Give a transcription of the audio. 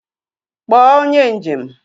Kpọọ onye njem!